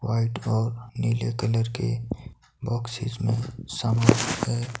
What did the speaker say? white frock नीले colour के boxes में --